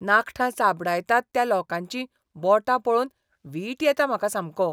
नाखटां चाबडायतात त्या लोकांची बोटां पळोवन वीट येता म्हाका सामको.